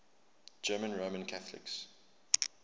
german roman catholics